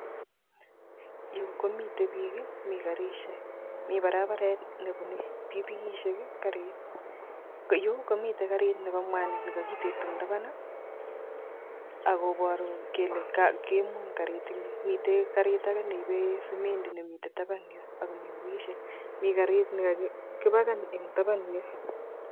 yu komiten biik I,mi karisiek mi barabare t nebune pikipikisiek, garisiek. Yu komiten garit Nebo mwanik nekokinde tabaan akoboru kole koimuny garit eng yon. Miten garit age neibe semendi nimeten taban yon ako mi pikipikisiek. Mi garit nekakipaken eng taban yon